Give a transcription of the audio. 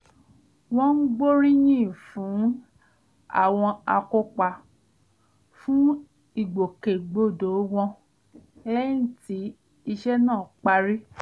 wọ́n gbóríyìn fún àwọn akópa fún ìgbòkègbodò wọn lẹ́yìn tí iṣẹ́ náà parí